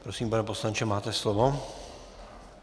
Prosím, pane poslanče, máte slovo.